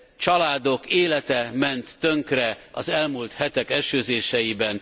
Családok élete ment tönkre az elmúlt hetek esőzéseiben.